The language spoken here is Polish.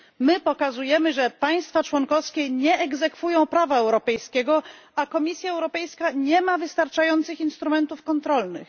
My pokazujemy, że państwa członkowskie nie egzekwują prawa europejskiego, a Komisja Europejska nie ma wystarczających instrumentów kontrolnych.